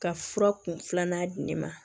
Ka fura kun filanan di ne ma